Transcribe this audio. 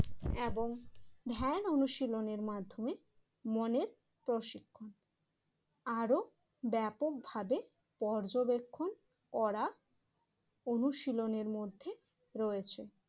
এবং ধ্যান অনুশীলনের মাধ্যমে মনের প্রশিক্ষণ আরও ব্যাপকভাবে পর্যবেক্ষণ করা অনুশীলনের মধ্যে রয়েছে।